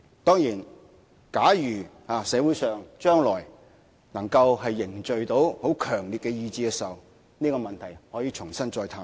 當然，假如將來社會上能夠凝聚很強烈的共識，這個問題可以重新探討。